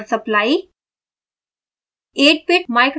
इसमें power supply